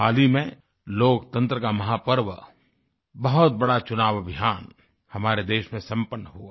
हाल ही में लोकतंत्र का महापर्व बहुत बड़ा चुनाव अभियान हमारे देश में संपन्न हुआ